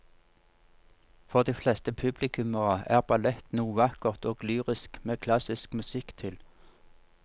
For de fleste publikummere er ballett noe vakkert og lyrisk med klassisk musikk til.